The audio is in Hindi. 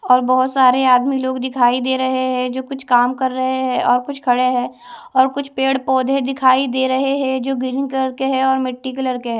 और बहुत सारे आदमी लोग दिखाई दे रहे हैं जो कुछ काम कर रहे हैं और कुछ खड़े हैं और कुछ पेड़ पौधे दिखाई दे रहे हैं जो ग्रीन कलर के है और मिट्टी कलर के है।